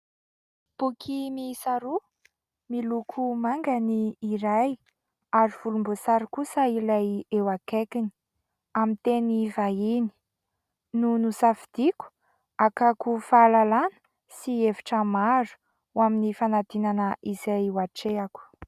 Boky miisa roa, miloko manga ny iray ary volomboasary kosa ilay eo akaikiny, amin'ny teny vahiny no nosafidiako hakako fahalalana sy hevitra maro ho amin'ny fanadinana izay ho hatrehako.